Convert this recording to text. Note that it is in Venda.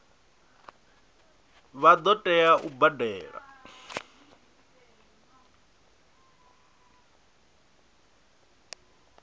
vha ḓo tea u badela